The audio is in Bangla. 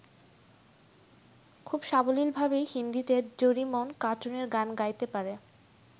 খুব সাবলীলভাবেই হিন্দীতে ডোরিমন কার্টুনের গান গাইতে পারে।